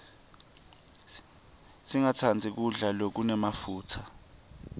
singastandzi kudla lokunemafutsa